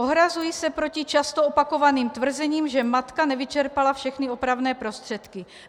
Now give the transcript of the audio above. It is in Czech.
Ohrazuji se proti často opakovaným tvrzením, že matka nevyčerpala všechny opravné prostředky.